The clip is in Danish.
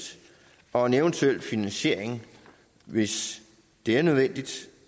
og en eventuel finansiering hvis det er nødvendigt